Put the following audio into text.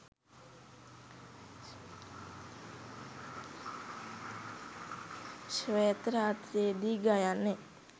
ශ්වේත රාත්‍රියේ දී ගයන්නෙ